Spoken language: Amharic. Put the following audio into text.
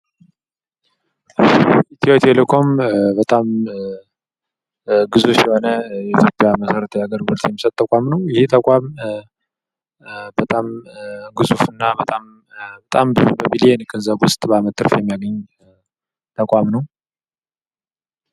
ኢትዮቴሌኮም በጣም ግዙፍ የሆነ የኢትዮጵያ መሰረታዊ አገልግሎት የሚሰጥ ተቋም ነው ። ይህ ተቋም በጣም ግዙፍ እና በጣም በሚሊዮን ገንዘብ ውስጥ በአመት ትርፍ የሚያገኝ ተቋም ነው ።